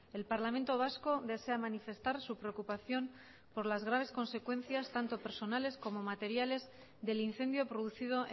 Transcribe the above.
el parlamento vasco desea manifestar su preocupación por las graves consecuencias tanto personales como materiales del incendio producido